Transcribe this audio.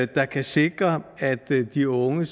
der kan sikre at de unge